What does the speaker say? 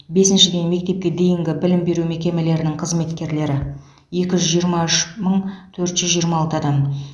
бесіншіден мектепке дейінгі білім беру мекемелерінің қызметкерлері екі жүз жиырма үш мың төрт жүз жиырма алты адам